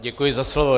Děkuji za slovo.